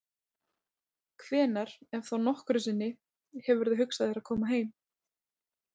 Hvenær, ef þá nokkru sinni, hefurðu hugsað þér að koma heim?